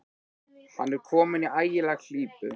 Hann er kominn í ægilega klípu.